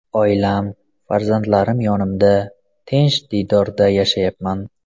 Oilam, farzandlarim yonimda, tinch diyorda yashayapman.